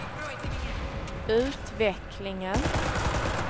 utvecklingen